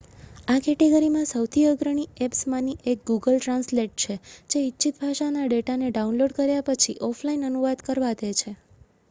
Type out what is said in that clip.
આ કેટેગરીમાં સૌથી અગ્રણી એપ્સમાંની 1 ગૂગલ ટ્રાન્સલેટ છે જે ઇચ્છિત ભાષાના ડેટાને ડાઉનલોડ કર્યા પછી ઓફલાઇન અનુવાદ કરવા દે છે